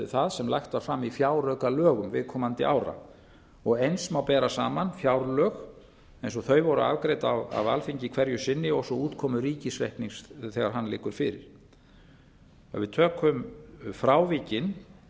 það sem lagt var fram í fjáraukalögum viðkomandi ára eins má bera saman fjárlög eins og þau voru afgreidd af alþingi hverju sinni og svo útkomu ríkisreiknings þegar hann liggur fyrir ef við tökum frávikin